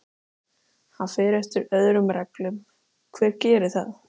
Hann fer eftir öðrum reglum, hver gerir það?